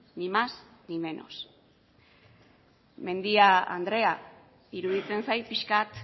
ni más ni menos mendia andrea iruditzen zait pixka bat